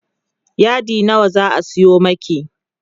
yadi nawa zaa Sayo maki?